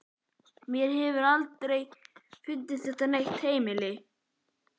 Mér hefur aldrei fundist þetta vera neitt heimili.